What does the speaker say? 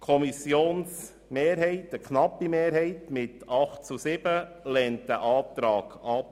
Eine knappe Kommissionsmehrheit mit 8 zu 7 Stimmen lehnt diesen Antrag ab.